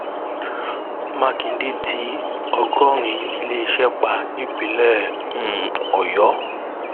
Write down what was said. mákindé tí ọgọrin iléeṣẹ pa nípínlẹ um ọyọ